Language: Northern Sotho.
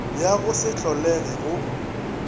ya go se holege go